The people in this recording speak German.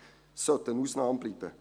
Es sollte eine Ausnahme bleiben.